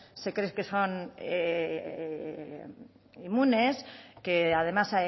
se creen que son inmunes que además